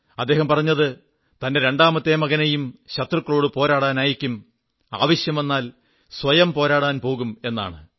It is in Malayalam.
അദ്ദേഹം പറഞ്ഞത് തന്റെ രണ്ടാമത്തെ മകനെയും ശത്രുക്കളോടു പോരാടാൻ അയയ്ക്കും ആവശ്യം വന്നാൽ സ്വയവും പോരാടാൻ പോകും എന്നാണ്